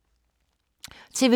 TV 2